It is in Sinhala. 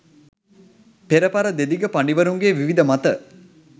පෙරපර දෙදිග පඬිවරුන්ගේ විවිධ මත